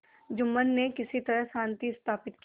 जुम्मन ने किसी तरह शांति स्थापित की